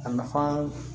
A nafa